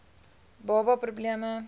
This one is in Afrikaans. baba pro bleme